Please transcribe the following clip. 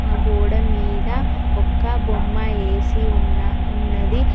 ఆ గోడ మీద ఒక్క బొమ్మ వేసి ఉన్న ఉన్నది.